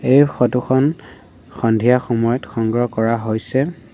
এই ফটো খন সন্ধিয়া সময়ত সংগ্ৰহ কৰা হৈছে।